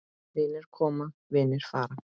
Vinir koma, vinir fara.